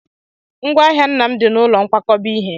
Ngwá ahịa nna m dị n'ụlọ nkwakọba ihe.